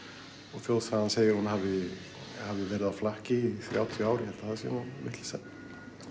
og þjóðsagan segir að hún hafi verið á flakki í þrjátíu ár ég held að það sé nú vitleysa